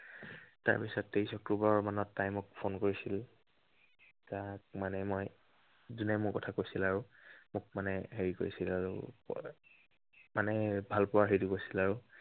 তাৰ পাছত তেইশ অক্টোৱৰ মানত তাই মোক phone কৰিছিল। তাক মানে মই যোনে মোৰ কথা কৈছিল আৰু। হেৰি কৰিছিল আৰু, মানে ভালপোৱাৰ হেৰিটো কৰিছিল আৰু।